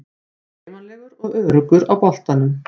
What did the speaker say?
Er hreyfanlegur og öruggur á boltanum.